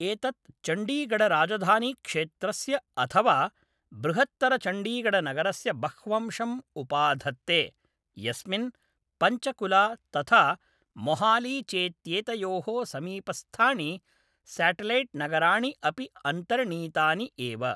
एतत् चण्डीगढराजधानीक्षेत्रस्य अथवा बृहत्तरचण्डीगढनगरस्य बह्वंशं उपाधत्ते, यस्मिन् पञ्चकुला तथा मोहाली चेत्येतयोः समीपस्थाणि स्याटेलैट्नगराणि अपि अन्तर्णीतानि एव।